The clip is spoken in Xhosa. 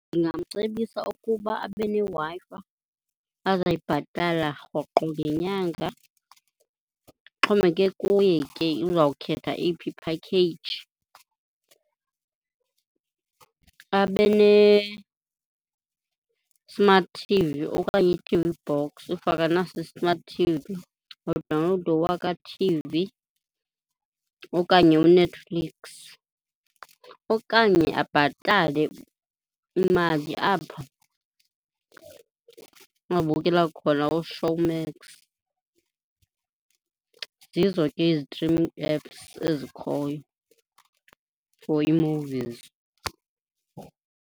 Ndingamcebisa ukuba abe neWi-Fi azayibhatala rhoqo ngenyanga, Ixhomekeke kuye ke uzawukhetha eyiphi i-package. Abe ne-smart t_v okanye i-t _v box if akanaso i-smart t_v. Adawunlowude uWaka t_v okanye uNetflix okanye abhatale imali apho angabukela khona uShowmax. Zizo ke ii-streaming apps ezikhoyo for ii-movies.